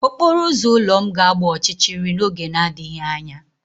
Okporo ụzọ ụlọ m ga-agba ọchịchịrị n'oge na-adịghị anya.